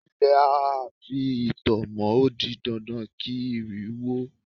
Ilé a fi itọ́ mọ ó di dandan kí ìrì wó ó.